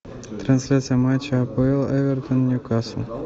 трансляция матча апл эвертон ньюкасл